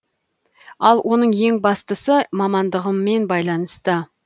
ал оның ең бастысы мамандығыммен байланысты